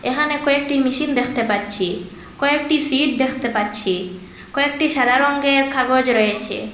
এখানে কয়েকটি মেশিন দেখতে পাচ্ছি কয়েকটি সিট দেখতে পাচ্ছি কয়েকটি সাদা রংয়ের কাগজ রয়েছে।